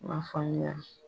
N m'a faamuya.